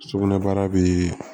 Sugunɛbara bɛ